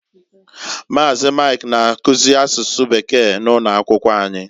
Maazi, Mike na-akuzi asụsụ Bekee na ụno akwụkwọ anyị.